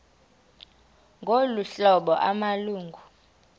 ngolu hlobo amalungu